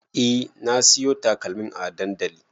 E na siyo takalmin a dandali